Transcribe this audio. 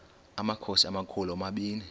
amakhosi amakhulu omabini